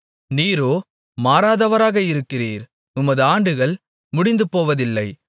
நீரோ மாறாதவராக இருக்கிறீர் உமது ஆண்டுகள் முடிந்துபோவதில்லை